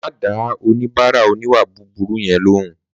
Má dá oníbàárà oníwà búburú yẹn lóhùn